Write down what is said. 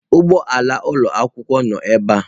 Ụgbọ ala ụlọ akwụkwọ noo ebe a.